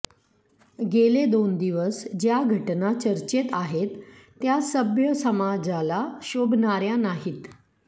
गेले दोन दिवस ज्या घटना चर्चेत आहेत त्या सभ्य समाजाला शोभणाऱ्या नाहीत